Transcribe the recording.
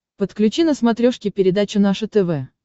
подключи на смотрешке передачу наше тв